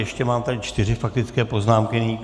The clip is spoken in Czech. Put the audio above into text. Ještě mám tady čtyři faktické poznámky.